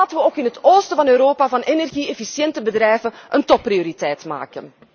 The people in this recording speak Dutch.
Laten wij ook in het oosten van Europa van energie efficiënte bedrijven een topprioriteit maken!